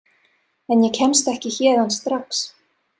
En ég kemst ekki héðan strax.